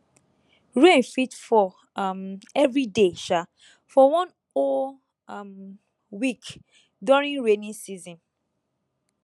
rain fit fall um every day um for one whole um week during rainy season